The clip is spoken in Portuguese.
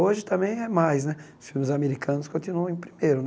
Hoje também é mais né, os filmes americanos continuam em primeiro né.